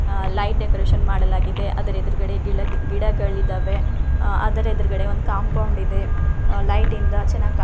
ಆ light decoration ಮಾಡಲಾಗಿದೆ ಅದರ್ ಎದುರುಗಡೆ ಗಿಳ ಗಿಡಗಳಿದವೇ ಆ ಅದ್ರ ಎದುರುಗಡೆ ಒಂದು ಕಾಂಪೌಂಡ್ ಇದೆ ಲೈಟಿಂದ ಚೆನ್ನಾಗಿ ಕಾಣ್ತಾ --